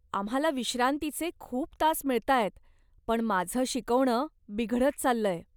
आम्हाला विश्रांतीचे खूप तास मिळतायत, पण माझं शिकवणं बिघडत चाललंय.